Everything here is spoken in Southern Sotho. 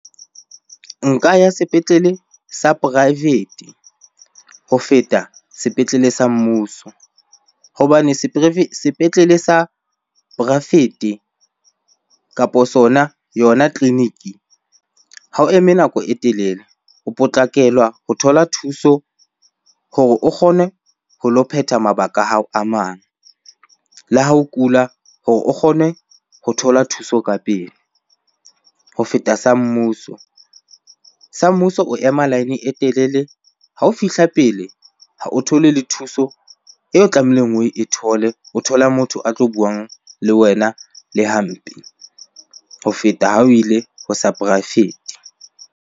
Nka ya sepetlele sa poraefete ho feta sepetlele sa mmuso. Hobane sepetlele sa poraefete kapo sona, yona tleliniki ha o eme nako e telele. O potlakelwa ho thola thuso hore o kgone ho lo phetha mabaka a hao a mang. Le ha o kula hore o kgone ho thola thuso ka pele ho feta sa mmuso. Sa mmuso o ema line e telele, ha o fihla pele ha o thole le thuso eo tlamehileng oe thole. O thola motho a tlo buang le wena le hampe ho feta ha o ile ho sa poraefete.